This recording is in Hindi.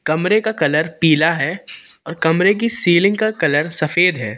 कमरे का कलर पीला है और कमरे की सीलिंग का कलर सफेद है।